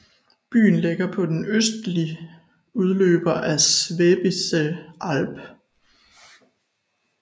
Byen ligger på en østlig udløber af Schwäbische Alb